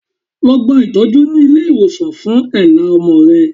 Lọ gba itọju ni ile iwosan fun èélá ọmọ rẹ